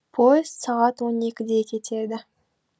поезд сағат он екіде кетеді